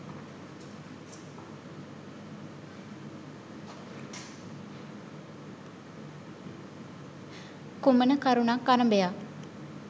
කුමන කරුණක් අරභයා